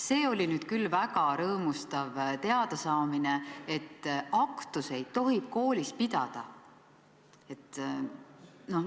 Seda oli nüüd küll väga rõõmustav teada saada, et aktusi tohib koolis pidada.